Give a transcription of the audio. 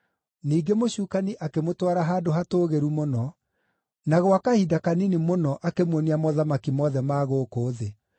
Ningĩ mũcukani akĩmũtwara handũ hatũũgĩru mũno, na gwa kahinda kanini mũno akĩmuonia mothamaki mothe ma gũkũ thĩ.